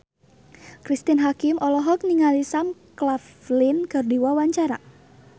Cristine Hakim olohok ningali Sam Claflin keur diwawancara